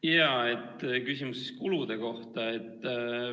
Jaa, küsimus kulude kohta.